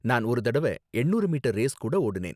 நான் ஒரு தடவ எண்ணூறு மீட்டர் ரேஸ் கூட ஓடுனேன்.